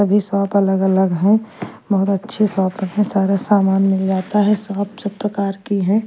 सभी शॉप अलग अलग है बहुत अच्छी शॉप है सारा सामान मिल जाता है शॉप सब प्रकार की हैं।